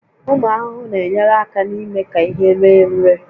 Ụmụ ahụhụ na-enyere aka n'ime ka ihe ree ure